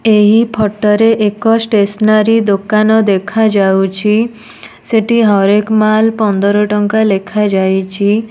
ଏହି ଫଟୋ ରେ ଏକ ଷ୍ଟେସନାରୀ ଦୋକାନ ଦେଖାଯାଉଛି। ସେଠି ହର୍-ଏକ-ମାଲ୍ ପନ୍ଦର ଟଙ୍କା ଲେଖାଯାଇଛି।